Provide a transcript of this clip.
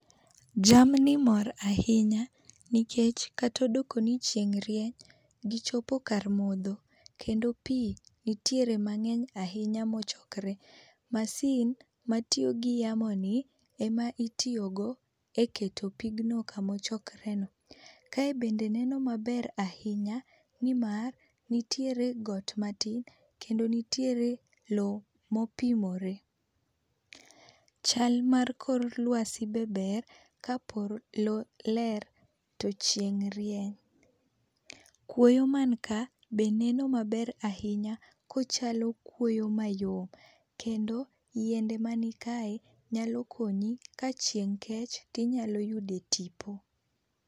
Jamni mor ahinya nikech kata odoko ni chieng rieny gi chopo kar modho. kendo pi nitiere mang'eny ahinya ,ma ochokore. Masin matiyo gi yamo ni ema itiyo go e keto pigno ka ma ochokre no.kaye be neno maber ahinya ni mar nitiere got matin kendo nitiere loo ma opimre. Chal mar kor uasi be ber ka polo ler to chieng rieny kuoyo man ka be neno maber ahinya ko ochalo kuoyo mayom ,kendo yiende man kae nyalo konyi ka chieng' kech to inyalo yudo tipo.